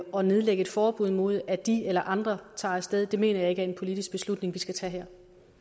og nedlægge et forbud mod at de eller andre tager af sted det mener jeg ikke er en politisk beslutning vi skal tage